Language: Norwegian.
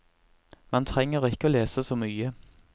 Man trenger ikke å lese så mye.